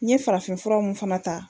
N ye farafinfuraw mun fana ta